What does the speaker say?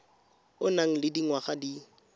o nang le dingwaga di